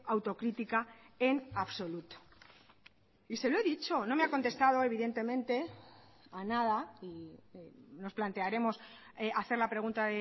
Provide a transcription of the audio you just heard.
autocrítica en absoluto y se lo he dicho no me ha contestado evidentemente a nada y nos plantearemos hacer la pregunta